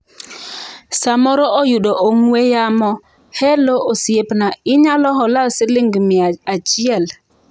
"samoro oyudo ong'we yamo - Hello, osiepna, inyalo hola siling mia achiel?"